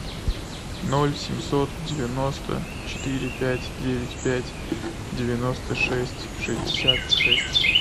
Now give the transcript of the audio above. ноль семьсот девяносто четыре пять девять пять девяносто шесть шестьдесят шесть